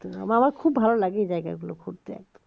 একদম আমার খুব ভালো লাগে এই জায়গাগুলো ঘুরতে